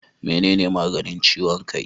Menene maganin ciwon kai?